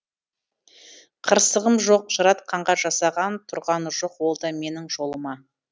қырсығым жоқ жаратқанға жасаған тұрғаны жоқ ол да менің жолыма